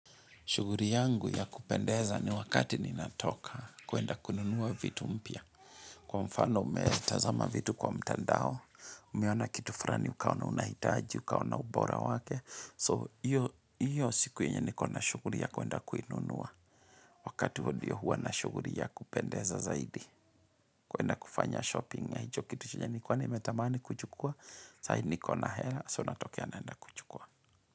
Shuguri yangu ya kupendeza ni wakati ninatoka kwenda kununua vitu mpya. Kwa mfano umetazama vitu kwa mtandao, umeiona kitu frani, ukaona unahitaji, ukaona ubora wake. So, hiyo siku yenye niko na shuguri ya kuenda kununua. Wakati huo ndio huwa na shuguri ya kupendeza zaidi. Kuenda kufanya shopping ya hicho kitu chenye nikuwa nimetamani kuchukua. Saidi niko na hela, so natokea naenda kuchukua.